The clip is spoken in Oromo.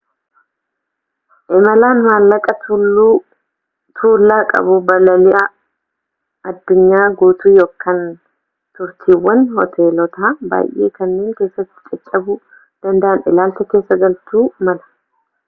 imalaan maallaqa tuullaa qabu balali'a addunyaa gutuu kan turtiiwwan hooteloota baay'ee kanneen keessaatti caccabuu dandan ilaalcha keessa galchuu mala